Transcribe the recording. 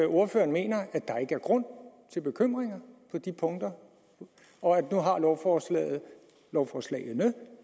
ordføreren mener at der ikke er grund til bekymring på de punkter for nu har lovforslagene lovforslagene